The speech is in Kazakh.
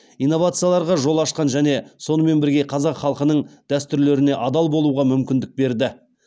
инновацияларға жол ашқан және сонымен бірге қазақ халқының дәстүрлеріне адал болуға мүмкіндік берді